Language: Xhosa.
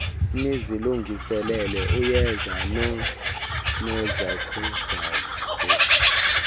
nizilungiselele uyeza noonozakuzaku